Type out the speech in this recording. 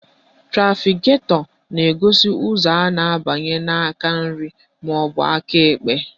Trafiketọ na-egosi ka ụzọ a na-abanye n'aka nri maọbụ aka ekpe